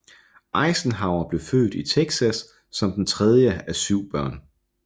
Eisenhower blev født i Texas som den tredje af syv børn